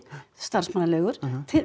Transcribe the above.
starfsmannaleigur